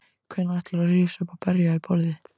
Hvenær ætlarðu að rísa upp og berja í borðið?